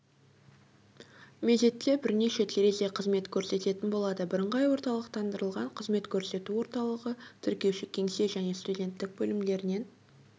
мезетте бірнеше терезе қызмет көрсететін болады бірыңғай орталықтандырылған қызмет көрсету орталығы тіркеуші-кеңсе және студенттік бөлімдерінен